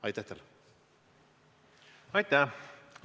Aitäh!